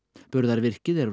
burðarvirkið er